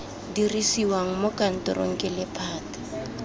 dirisiwa mo kantorong ke lephata